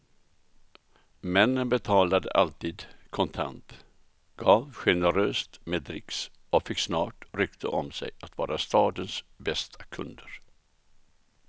Männen betalade alltid kontant, gav generöst med dricks och fick snart rykte om sig att vara stadens bästa kunder.